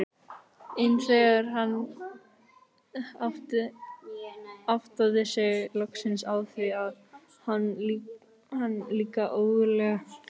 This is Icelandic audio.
En þegar hann áttaði sig loksins á því varð hann líka ógurlega glaður.